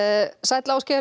Ásgeir